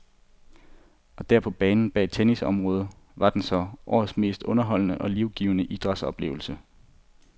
Og der, på banen bag tennisområdet, var den så, årets mest underholdende og livgivende idrætsoplevelse.